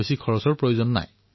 আমি ইয়াক অতি সাধাৰণভাৱে কৰিম